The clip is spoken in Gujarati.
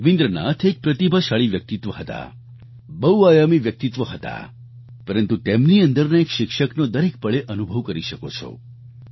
રવિન્દ્રનાથ એક પ્રતિભાશાળી વ્યક્તિત્વ હતા બહુઆયામી વ્યક્તિત્વ હતા પરંતુ તેમની અંદરના એક શિક્ષકનો દરેક પળે અનુભવ કરી શકો છો